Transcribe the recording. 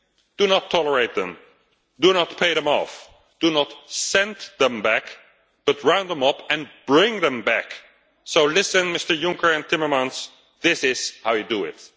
Do not tolerate them, do not pay them off, do not send them back, but round them up and bring them back. So listen, Mr Juncker and Mr Timmermans, this is how you do it.